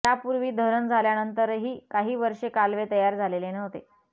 यापूर्वी धरण झाल्यानंतरही काही वर्षे कालवे तयार झालेले नव्हते